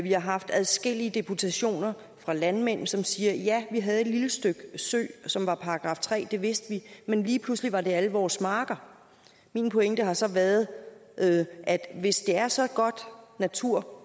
har haft adskillige deputationer af landmænd som siger vi havde et lille stykke sø som var § tre areal det vidste vi men lige pludselig var det alle vores marker min pointe har så været at hvis det er så god natur